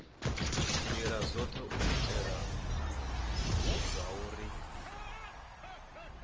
ndila dzothe u itela zwauri